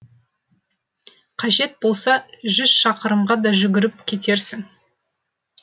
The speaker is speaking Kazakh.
қажет болса жүз шақырымға да жүгіріп кетерсің